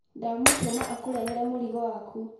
Ndamũtũma akũrehere mũrigo waku.